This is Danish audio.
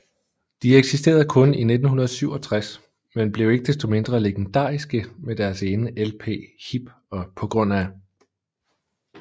De eksisterede kun i 1967 men blev ikke desto mindre legendariske med deres ene lp HIP og pga